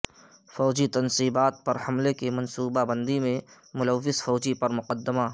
فوجی تنصیبات پر حملے کی منصوبہ بندی میں ملوث فوجی پر مقدمہ